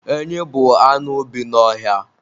Enyị bụ anụ bi n'ọhịa